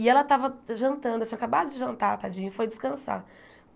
E ela estava jantando, tinha acabado de jantar, tadinha, e foi descansar.